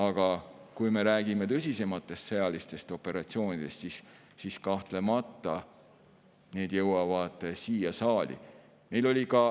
Aga kui me räägime tõsisematest sõjalistest operatsioonidest, siis need jõuavad kahtlemata siia saali.